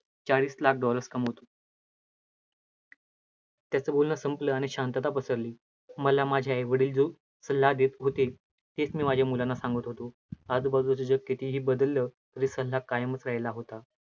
चाळीस लाख dollars कमावतो. त्याचं बोलणं संपलं आणि शांतता पसरली, मला माझे आई वडील जो सल्ला देतं होते, तेच मी माझ्या मुलांना सांगत होतो, आजूबाजूचं जग कितीही बदललं, तरी सल्ला कायमचं राहीला होता.